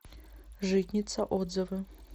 житница отзывы